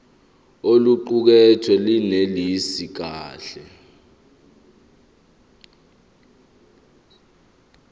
oluqukethwe lunelisi kahle